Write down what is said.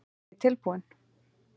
Er ég tilbúinn?